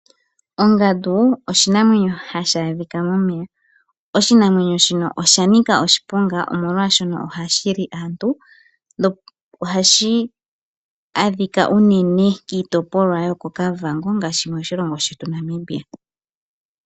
Ongandu oshinamwenyo hashi adhika momeya. Oshinamwenyo shika osha nika oshiponga, oshoka ohashi li aantu. Ohashi adhika unene kiitopolwa yokOkavango, moshilongo shetu Namibia.